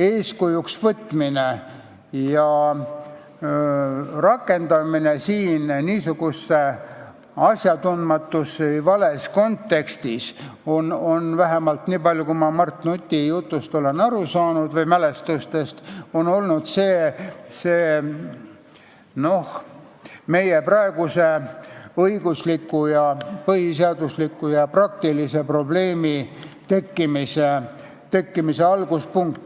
eeskujuks võtmine ja rakendamine niisuguses asjatundmatus või vales kontekstis, vähemalt niipalju, kui ma Mart Nuti mälestustest olen aru saanud, on olnud meie praeguse õigusliku, põhiseadusliku ja praktilise probleemi tekkimise alguspunkt.